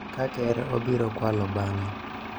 ka Ker obiro kwalo bang�e,